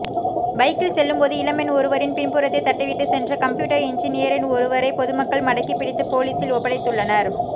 பைக்கில் செல்லும்போது இளம்பெண் ஒருவரின் பின்புறத்தை தட்டிவிட்டு சென்ற கம்ப்யூட்டர் இன்ஜினியர் ஒருவரை பொதுமக்கள் மடக்கிப் பிடித்து போலீசில் ஒப்படைத்துள்ளனர்